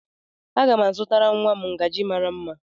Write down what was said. a ga m azụtara nwa m ngaji mara mma